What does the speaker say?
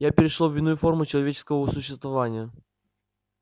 я перешёл в иную форму человеческого существования